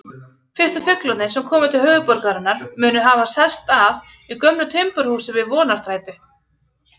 Fyrstu fuglarnir sem komu til höfuðborgarinnar munu hafa sest að í gömlu timburhúsi við Vonarstræti.